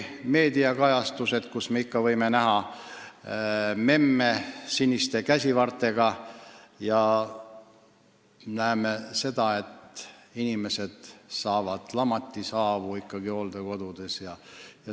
Meediakajastustest võime ikka näha memmesid siniste käsivartega ja seda, kuidas inimesed hooldekodudes saavad lamatishaavu.